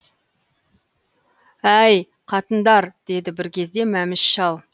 әи й қатындар деді бір кезде мәміш шал